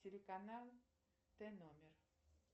телеканал т номер